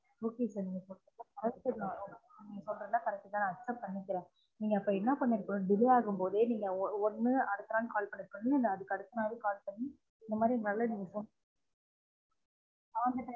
Okay sir நீங்க சொல்றது எல்லான் சொல்றது எல்லான் correct தான் நான் accept ப்ண்னிக்குரன் நீங்க அப்ப என்ன பண்ணிருக்கனு delay ஆகும் போதே நீங்க ஒ ஒன்னு அடுத்த நாள் call பண்ணிருக்கனும் இல்ல அதுக்கு அடுத்த நாள் call பண்ணி இந்த மாதிரி valid reason